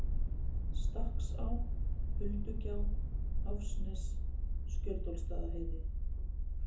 Stakksá, Huldugjá, Háfsnes, Skjöldólfsstaðaheiði